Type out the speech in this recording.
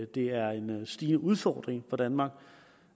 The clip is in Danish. det er en stigende udfordring for danmark